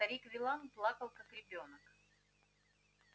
старик виллан плакал как ребёнок